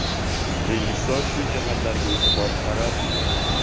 Rejissor shu jihatlarga e’tibor qaratmagan.